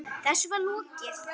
Þessu var lokið.